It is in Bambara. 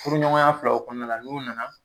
Furuɲɔgɔnya filaw kɔnɔna la n'u nana